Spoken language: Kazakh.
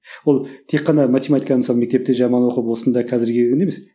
ол тек қана математиканы мысалы мектепте жаман оқып осында қазір келгенде емес